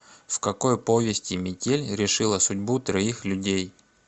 в какой повести метель решила судьбу троих людей